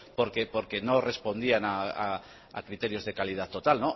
porque no respondían a criterios de calidad total